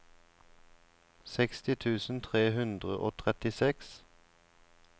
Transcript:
seksti tusen tre hundre og trettiseks